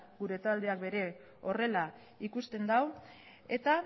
gure taldeak ere horrela ikusten du eta